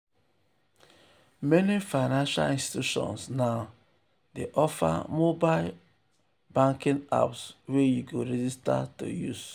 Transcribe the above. meni financial institutions now dey offer mobile offer mobile banking apps wey you go register to use.